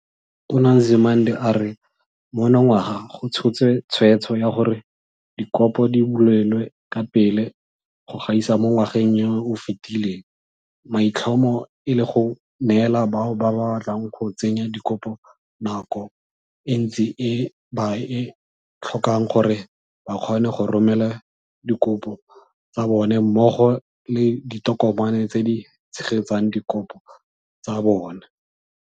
Tona Nzimande a re monongwaga go tshotse tshweetso ya gore dikopo di bulelwe ka pele go gaisa mo ngwageng yo o fetileng, maitlhomo e le go neela bao ba batlang go tsenya dikopo nako e ntsi e ba e tlhokang gore ba kgone go romela dikopo tsa bona mmogo le ditokomane tse di tshegetsang dikopo tsa bona.